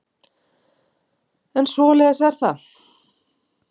En svoleiðis er það.